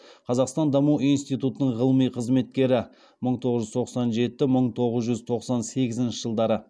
қазақстан даму институтының ғылыми қызметкері